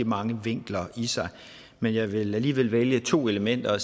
mange vinkler i sig men jeg vil alligevel vælge to elementer